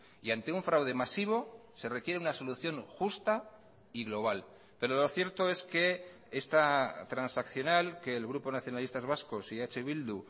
y ante un fraude masivo se requiere una solución justa y global pero lo cierto es que esta transaccional que el grupo nacionalistas vascos y eh bildu